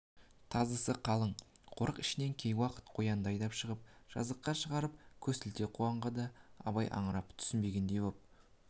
тазысы қалың қорық ішінен кей уақыт қоянды айдап шығып жазыққа шығарып көсілте қуғанға да абай аңырып түсінбегендей боп